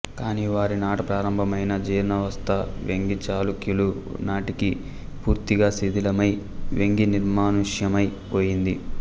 కాని వారి నాట ప్రారంభమైన జీర్ణావస్థ వేంగీచాళుక్యుల నాటికి పూర్తిగా శిథిలమై వేంగీ నిర్మానుష్యమై పోయింది